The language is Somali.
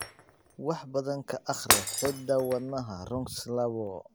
Wax badan ka akhri hidda-wadaha RUNX labo.